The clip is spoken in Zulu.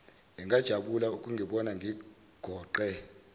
angajabula ukungibona ngigoqe